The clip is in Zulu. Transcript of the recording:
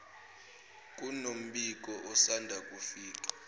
kunombiko osanda kufika